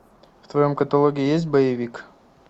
в твоем каталоге есть боевик